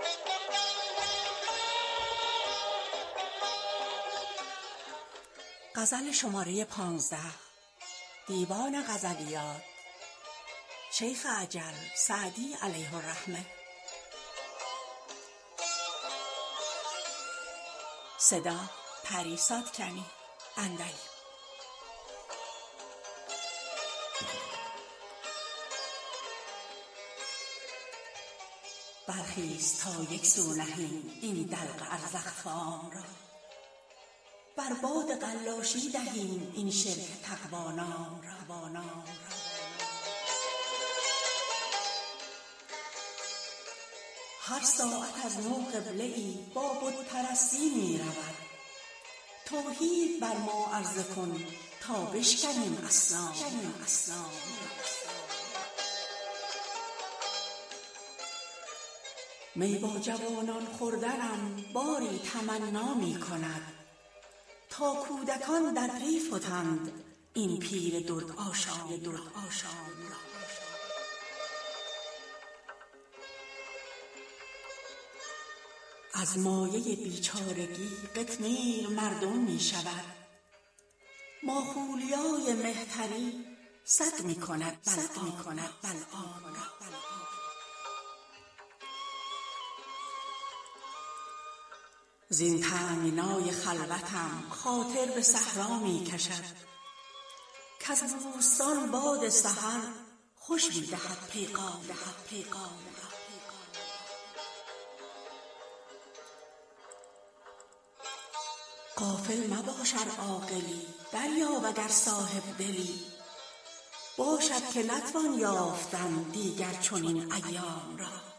برخیز تا یک سو نهیم این دلق ازرق فام را بر باد قلاشی دهیم این شرک تقوا نام را هر ساعت از نو قبله ای با بت پرستی می رود توحید بر ما عرضه کن تا بشکنیم اصنام را می با جوانان خوردنم باری تمنا می کند تا کودکان در پی فتند این پیر دردآشام را از مایه بیچارگی قطمیر مردم می شود ماخولیای مهتری سگ می کند بلعام را زین تنگنای خلوتم خاطر به صحرا می کشد کز بوستان باد سحر خوش می دهد پیغام را غافل مباش ار عاقلی دریاب اگر صاحب دلی باشد که نتوان یافتن دیگر چنین ایام را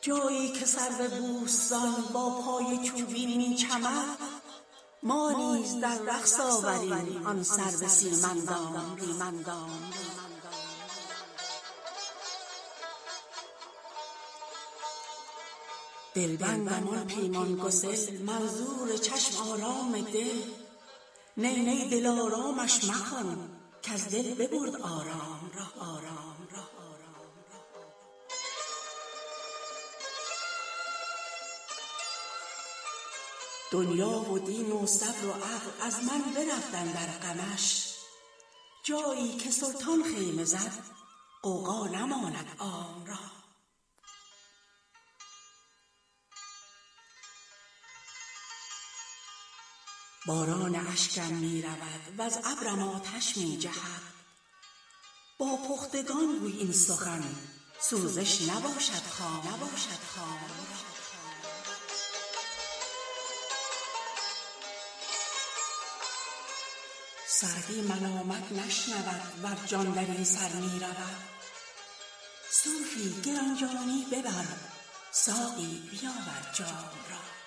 جایی که سرو بوستان با پای چوبین می چمد ما نیز در رقص آوریم آن سرو سیم اندام را دلبندم آن پیمان گسل منظور چشم آرام دل نی نی دلآرامش مخوان کز دل ببرد آرام را دنیا و دین و صبر و عقل از من برفت اندر غمش جایی که سلطان خیمه زد غوغا نماند عام را باران اشکم می رود وز ابرم آتش می جهد با پختگان گوی این سخن سوزش نباشد خام را سعدی ملامت نشنود ور جان در این سر می رود صوفی گران جانی ببر ساقی بیاور جام را